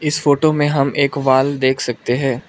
इस फोटो में हम एक वॉल देख सकते हैं।